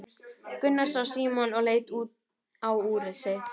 Gunnar sá Símon og leit á úrið sitt.